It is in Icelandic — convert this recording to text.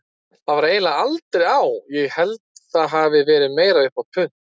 Það var eiginlega aldrei á, ég held það hafi verið meira upp á punt.